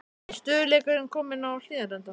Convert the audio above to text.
Er stöðugleikinn kominn á Hlíðarenda?